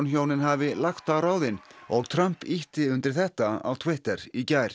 hjónin hafi lagt á ráðin og Trump ýtti undir þetta á Twitter í gær